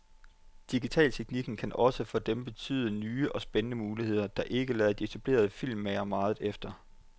Digitalteknikken kan også for dem betyde nye og spændende muligheder, der ikke lader de etablerede filmmagere meget efter.